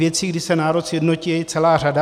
Věcí, kdy se národ sjednotí, je celá řada.